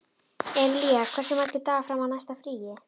Emilía, hversu margir dagar fram að næsta fríi?